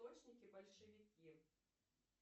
срочники большевики